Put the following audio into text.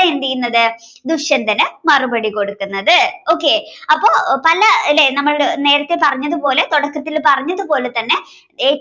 എന്തെയ്യുന്നത് ദുഷ്യന്തരന് മറുപടി കൊടുക്കുന്നത്. okay അപ്പൊ പല ലെ നമ്മൾ നേരത്തെ പറഞ്ഞത് പോലെ തുടക്കത്തിൽ പറഞ്ഞത് പോലെ തന്നെ ഏറ്റവും